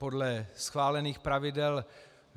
Podle schválených pravidel...